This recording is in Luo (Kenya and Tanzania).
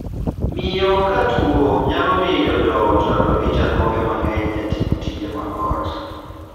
Miyo ka tuo nyalo miyo joot rado gi chandruoge mang'eny e timo tije mag ot.